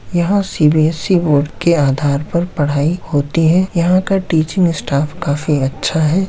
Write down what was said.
यहाँ CBSC board के आधार पर पढ़ाई होती है यहाँ का टीचिंग स्टाफ काफी अच्छा है।